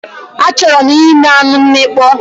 Achọrọ m ime anụ mmịkpọ